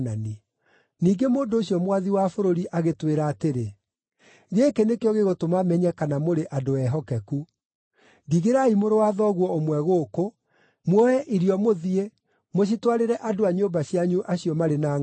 “Ningĩ mũndũ ũcio mwathi wa bũrũri agĩtwĩra atĩrĩ, ‘Gĩkĩ nĩkĩo gĩgũtũma menye kana mũrĩ andũ ehokeku: Ndigĩrai mũrũ wa thoguo ũmwe gũkũ, muoe irio mũthiĩ mũcitwarĩre andũ a nyũmba cianyu acio marĩ na ngʼaragu.